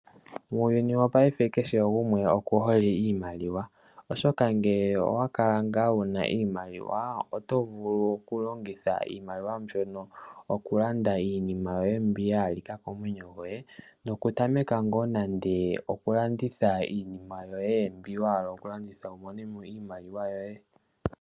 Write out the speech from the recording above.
Uuyuni wopaife kehe gumwe okuhole iimaliwa oshoka ngele owakala ngaa wuna iimaliwa oto vulu okulongitha iimaliwa mbyono okulanda iinima yoye mbi yahalika komwenyo goye, nokutameka ngo nande okulanditha iinima yoye mbi wahala okulanditha wumone mo iimaliwa yoye.